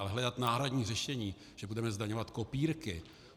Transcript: Ale hledat náhradní řešení, že budeme zdaňovat kopírky?